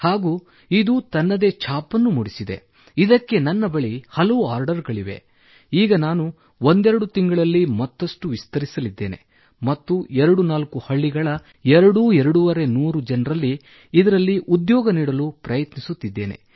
ಹಾಗೂ ಇದು ತನ್ನದೇ ಛಾಪನ್ನೂ ಮೂಡಿಸಿದೆ ಇದಕ್ಕೆ ನನ್ನ ಬಳಿ ಹಲವು ಆರ್ಡರ್ ಗಳಿವೆ ಈಗ ನಾನು ಒಂದೆರಡು ತಿಂಗಳಲ್ಲಿ ಮತ್ತಷ್ಟು ವಿಸ್ತರಿಸಲಿದ್ದೇನೆ ಮತ್ತು ಎರಡುನಾಲ್ಕು ಹಳ್ಳಿಗಳ ಎರಡು ನೂರರಿಂದ 250 ಜನರಿಗೆ ಇದರಲ್ಲಿ ಉದ್ಯೋಗ ನೀಡಲು ಪ್ರಯತ್ನಿಸುತ್ತೇನೆ